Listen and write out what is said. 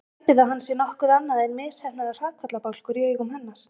Hæpið að hann sé nokkuð annað en misheppnaður hrakfallabálkur í augum hennar.